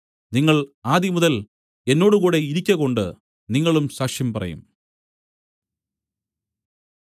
നിങ്ങൾ ആദിമുതൽ എന്നോടുകൂടെ ഇരിക്കകൊണ്ട് നിങ്ങളും സാക്ഷ്യം പറയും